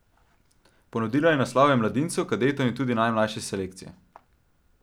Ponudila je naslove mladincev, kadetov in tudi najmlajše selekcije.